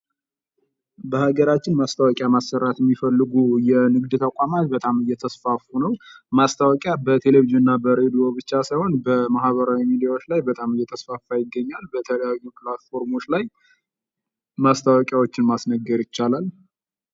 በሀገራችን ማስታወቂያ ማሰራት የሚፈልጉ የንግድ ተቋማት በጣም የተስፋፉ ነው ። ማስታወቂያ በቴሌቪዥን እና በሬድዮ ብቻ ሳይሆን በማህበራዊ ሚዲያዎች ላይ በጣም የተስፋፋ ይገኛል ። በተለያዩ ፕላትፎርሞች ላይ ማስታወቂያዎችን ማስነገር ይቻላል ።